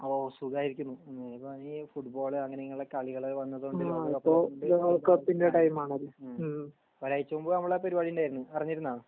ഓ സുഗായിരിക്കുന്നു ഫുട്ബോൾ അങ്ങനെയുള്ള കളികള് വന്നതോണ്ട് ഒരാഴ്ച മുമ്പ് നമ്മളെ ആ പെരുവാടി ണ്ടാരുന്നു അറിഞ്ഞിരുന്ന